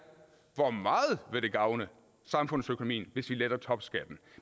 hvor meget det vil gavne samfundsøkonomien hvis vi letter topskatten